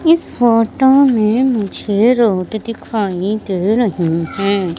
इस फोटो में मुझे रोड दिखाई दे रही है।